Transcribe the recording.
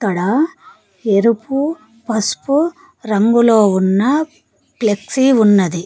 ఇక్కడ ఎరుపు పసుపు రంగులో ఉన్న ఫ్లెక్సీ ఉన్నది.